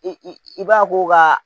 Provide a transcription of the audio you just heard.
I i i b'a k'o ka